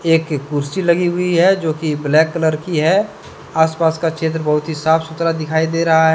एक कुर्सी लगी हुई है जो कि ब्लैक कलर की है आसपास का क्षेत्र बहुत ही साफ सुथरा दिखाई दे रहा है।